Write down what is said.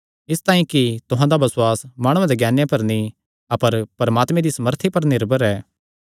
इसतांई कि तुहां दा बसुआस माणुआं दे ज्ञाने पर नीं अपर परमात्मे दी सामर्थी पर निर्भर ऐ